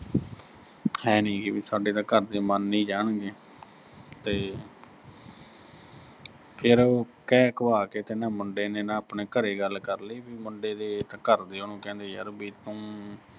ਹੈਨੀ ਗੀ, ਵੀ ਸਾਡੇ ਤਾਂ ਘਰ ਦੇ ਮੰਨ ਈ ਜਾਣਗੇ ਤੇ ਫਿਰ ਉਹ ਕਹਿ ਕਹਾ ਕੇ ਕਹਿੰਦਾ ਮੁੰਡੇ ਨੇ ਆਪਣੇ ਘਰੇ ਗੱਲ ਕਰ ਲੀ, ਬਈ ਮੁੰਡੇ ਦੇ ਘਰ ਦੇ ਉਹਨੂੰ ਕਹਿੰਦੇ ਯਰ ਵੀ ਤੂੰ